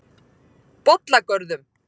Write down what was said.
Bollagörðum